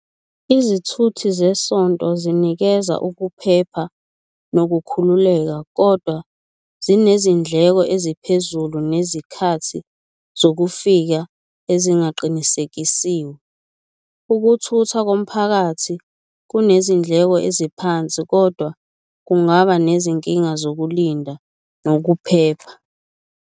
Izithuthi zesonto zinikeza ukuphepha nokukhululeka, kodwa zinezindleko eziphezulu nezikhathi zokufika ezingaqinisekisiwe, ukuthuthwa komphakathi kunezindleko eziphansi, kodwa kungaba nezinkinga zokulinda nokuphepha.